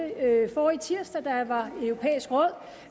forrige tirsdag